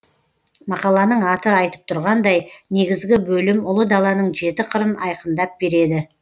мақаланың аты айтып тұрғандай негізгі бөлім ұлы даланың жеті қырын айқындап береді